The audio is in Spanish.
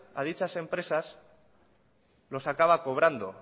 a dichas empresas los acaba cobrando